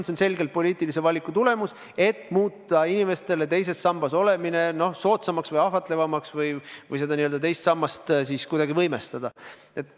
See on selgelt poliitilise valiku tulemus, et muuta inimestele teises sambas olemine soodsamaks või ahvatlevamaks ja seda teist sammast kuidagi võimestada.